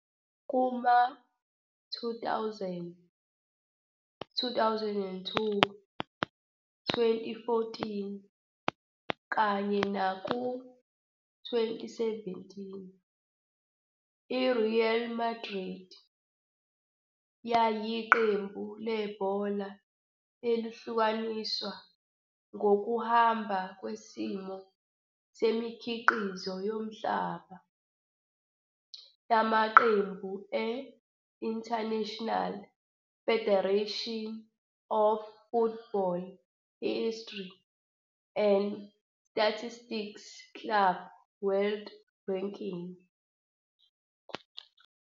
Kuma-2000, 2002, 2014, kanye nako-2017, i-Real Madrid yayiqembu lebhola elihlukaniswa ngokuhamba kwesimo semikhiqizo yomhlaba yamaqembu e-International Federation of Football History and Statistics Club World Ranking.